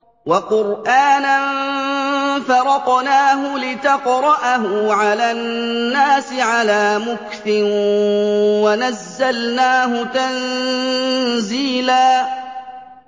وَقُرْآنًا فَرَقْنَاهُ لِتَقْرَأَهُ عَلَى النَّاسِ عَلَىٰ مُكْثٍ وَنَزَّلْنَاهُ تَنزِيلًا